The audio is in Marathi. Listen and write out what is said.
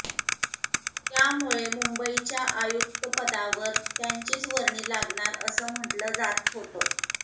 त्यामुळे मुंबईच्या आयुक्तपदावर त्यांचीच वर्णी लागणार असं म्हटलं जात होतं